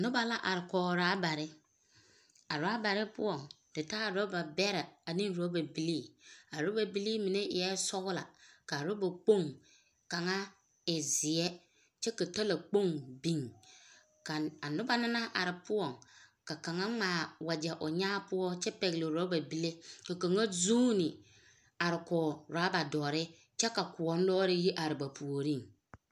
Noba la are kɔge rabare. Rabare poɔŋ te taa raba bɛrɛ ane raba bilii a raba bilii mine eɛ sɔglɔ kyɛ kaa raba kpoŋ kaŋa e zeɛ kyɛ ka talakpoŋ biŋ ka a noba na naŋ are poɔŋ ka kaŋa ŋmaa wagyɛ o nyaa poɔ kyɛ pɛgele raba bile ka kaŋa zuuni are kɔg rabare kyɛ ka kɔŋ-ɔŋ lɔɔre yi are ba puoriŋ.